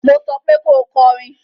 Mo sọ pé ko kọrin